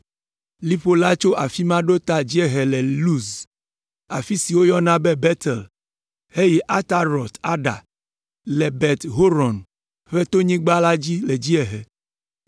Liƒo la tso afi ma ɖo ta dziehe yi Luz, afi si wogayɔna be Betel, heyi Atarot Ada, le Bet Horon ƒe tonyigba dzi le dziehe.